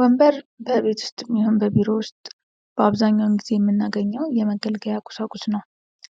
ወንበር በቤት ዉስጥም ይሁን በቢሮ ውስጥ በአብዛኛው የምናገኘው የመገልገያ ቁሳቁስ ነው።